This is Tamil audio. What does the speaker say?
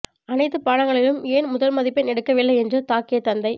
அனைத்து பாடங்களிலும் ஏன் முதல் மதிப்பெண் எடுக்கவில்லை என்று தாக்கிய தந்தை